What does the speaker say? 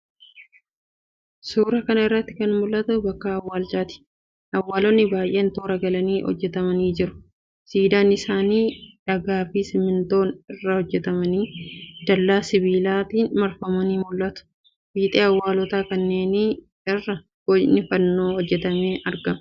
Suuraa kana irratti kan mul'atu bakka awwaalchaati. Awwaalonni baay'ee toora galanii hojjetamanii jiru. Siidaan isaanii dhagaafi simmintoo irraa hojjetamanii, dallaa sibiilaatiin marfamanii mul'atu. Fiixee awwaalota kanneenii irra bocni fannoo hojjetamee argama.